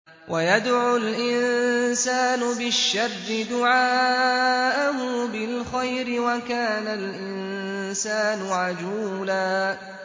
وَيَدْعُ الْإِنسَانُ بِالشَّرِّ دُعَاءَهُ بِالْخَيْرِ ۖ وَكَانَ الْإِنسَانُ عَجُولًا